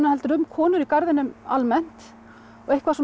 heldur um konur í garðinum almennt og eitthvað